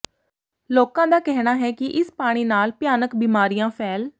ਲੋਕਾਂ ਦਾ ਕਹਿਣਾ ਹੈ ਕਿ ਇਸ ਪਾਣੀ ਨਾਲ ਭਿਆਨਕ ਬਿਮਾਰੀਆਂ ਫੈਲ